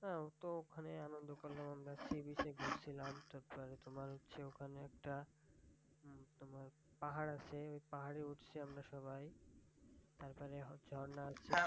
হ্যাঁ ওখানে তো আন্দন করলাম আমরা। sea beach এ ঘুরছিলাম। তখন তোমার হচ্ছে ওখানে একটা মানি তোমার একটা পাহাড় আছে। ঐ পাহাড়ে উঠছি আমরা সবাই। তারপরে হচ্ছে ঝর্না আছে।